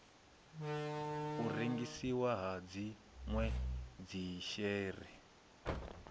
u rengisiwa ha dzinwe dzishere